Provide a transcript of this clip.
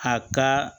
A ka